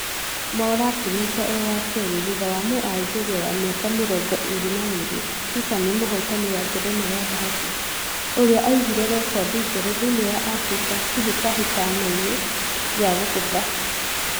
Mwaura akĩrĩkia e wa kerĩ thutha wa mũaljeria wa miaka mirongo ĩri na ĩri tiffany mũhotani wa ngerenwa ya thahabũ, ũria aigĩte rekodi njerũ thĩini wa africa kĩhĩtahĩtano-inĩ gĩa kũgutha